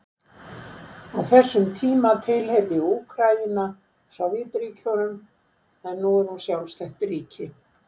Á þessum tíma tilheyrði Úkraína Sovétríkjunum en nú er hún sjálfstætt ríki.